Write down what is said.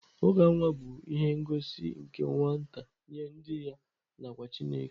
uka nwa bụ ihe ngosi nke nwata nye ndị ya na kwa Chineke.